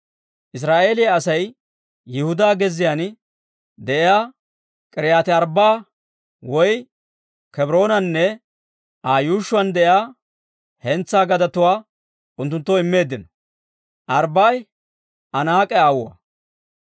Israa'eeliyaa Asay Yihudaa gezziyaan de'iyaa K'iriyaati-Arbbaa'a woy Kebroonanne Aa yuushshuwaan de'iyaa hentsaa gadetuwaa unttunttoo immeeddino. (Arbbaa'i Anaak'e aawuwaa.)